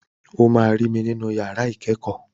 O máa rí mi nínú yàrá ìkẹ́kọ̀ọ́.